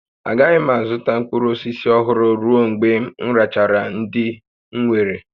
Agaghị m azụta mkpụrụ osisi ọhụrụ ruo mgbe m rechara ndị m nwere